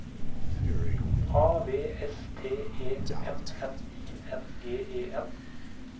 A V S T E M N I N G E N